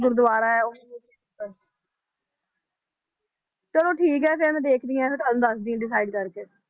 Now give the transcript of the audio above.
ਗੁਰਦੁਆਰਾ ਹੈ ਚਲੋ ਠੀਕ ਹੈ ਫਿਰ ਮੈਂ ਦੇਖਦੀ ਹਾਂ ਤੇ ਤੁਹਾਨੂੰ ਦੱਸਦੀ ਹਾਂ decide ਕਰਕੇ